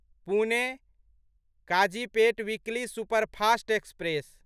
Pune Kazipet weekly superfast express